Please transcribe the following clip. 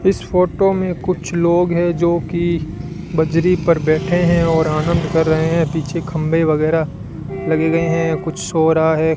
इस फोटो में कुछ लोग है जो कि बजरी पर बैठे हैं और आनंद कर रहे हैं पीछे खंभे वगैरह लगे गए हैं कुछ हो रहा है।